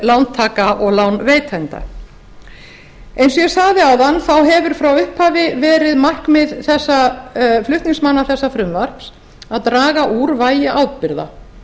lántaka og lánveitenda eins og ég sagði áðan þá hefur frá upphafi verið markmið flutningsmanna þessa frumvarps að draga úr vægi ábyrgða